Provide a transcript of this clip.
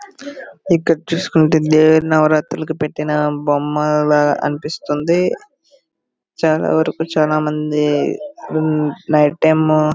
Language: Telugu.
ఇక్కడ చూసుకుంటే దేవీ నవరాత్రులకు పెట్టిన బొమ్మలా అనిపిస్తుంది. చాలా వరకు చాలామంది ఓ నైట్ టైము --